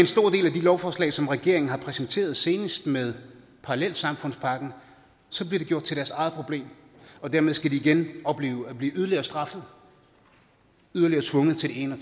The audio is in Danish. lovforslag som regeringen har præsenteret senest med parallelsamfundspakken så bliver det gjort til deres eget problem og dermed skal de igen opleve at blive yderligere straffet yderligere tvunget til det ene og